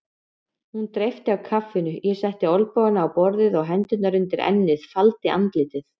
Hún dreypti á kaffinu, ég setti olnbogana á borðið og hendurnar undir ennið, faldi andlitið.